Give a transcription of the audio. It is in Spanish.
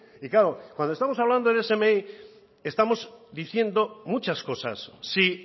y claro cuando estamos hablando de smi estamos diciendo muchas cosas si